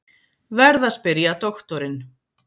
Verð að spyrja doktorinn.